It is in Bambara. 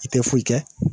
I tɛ foyi kɛ